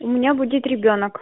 у меня будет ребёнок